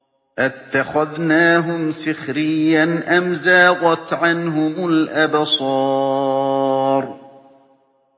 أَتَّخَذْنَاهُمْ سِخْرِيًّا أَمْ زَاغَتْ عَنْهُمُ الْأَبْصَارُ